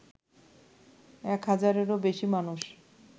এক হাজারেও বেশি মানুষ